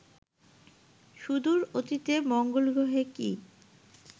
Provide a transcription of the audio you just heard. সুদূর অতীতে মঙ্গলগ্রহে কি